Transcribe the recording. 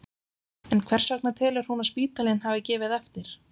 En hvers vegna telur hún að spítalinn hafi gefið eftir?